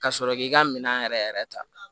Ka sɔrɔ k'i ka minɛn yɛrɛ yɛrɛ ta